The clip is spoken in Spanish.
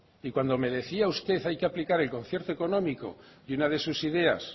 y cuando me decía usted hay que aplicar el concierto económico y una de sus ideas